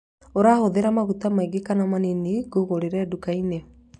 Ũrahũthĩra maguta maingĩ kana manini ngũgũrĩre nduka-inĩ